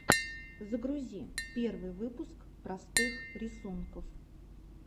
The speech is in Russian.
загрузи первый выпуск простых рисунков